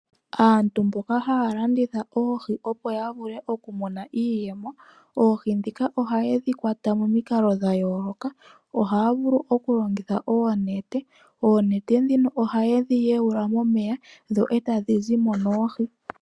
Aantu mboka haya landitha oohi opo yavule okumona iiyemo. Oohi ndhika ohayedhi kwata momikalo dha yooloka, ohaya vulu okulongitha oonete, oonete ndhino ohayedhi yewula momeya dho etadhi zimo no oohi.